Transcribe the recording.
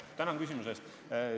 Tänan küsimuse eest!